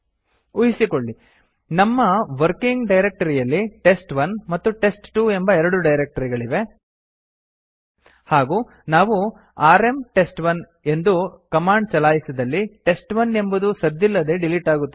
ಊಹಿಸಿಕೊಳ್ಳಿ ನಮ್ಮ ವರ್ಕಿಂಗ್ ಡೈರಕ್ಟರಿಯಲ್ಲಿ ಟೆಸ್ಟ್1 ಮತ್ತು ಟೆಸ್ಟ್2 ಎಂಬ ಎರಡು ಡೈರಕ್ಟರಿಗಳಿವೆ ಹಾಗೂ ನಾವು ಆರ್ಎಂ ಟೆಸ್ಟ್1 ಎಂದು ಕಮಾಂಡ್ ಚಲಾಯಿಸಿದಲ್ಲಿ ಟೆಸ್ಟ್1 ಎಂಬುದು ಸದ್ದಿಲ್ಲದೆ ಡಿಲೀಟ್ ಆಗುತ್ತದೆ